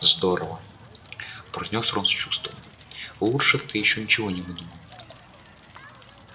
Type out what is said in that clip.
здорово произнёс рон с чувством лучше ты ещё ничего не выдумал